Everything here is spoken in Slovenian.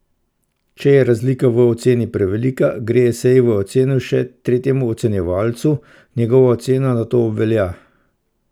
Če je razlika v oceni prevelika, gre esej v oceno še tretjemu ocenjevalcu, njegova ocena nato obvelja.